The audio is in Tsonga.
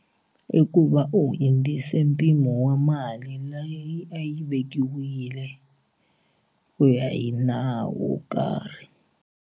I ku va u hundzise mpimo wa mali leyi a yi vekiwile ku ya hi nawu wo karhi.